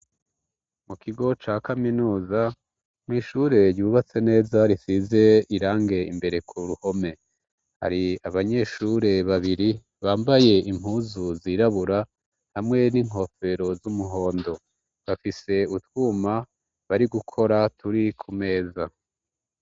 Mu kigo ca kaminuza mw'ishure ryubatse neza risize irangi, imbere ku ruhome hari abanyeshure babiri bambaye impuzu zirabura hamwe n'inkofero z'umuhondo. Bafise utwuma bari gukora turi ku meza.